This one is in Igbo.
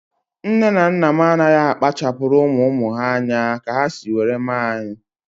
Nne na nna m anaghị akpachapuru ụmụ ụmụ ha anya ka ha si were mee anyị